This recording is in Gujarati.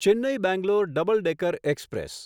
Chennai Bangalore double decker express